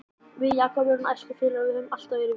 Við Jakob erum æskufélagar og höfum alltaf verið vinir.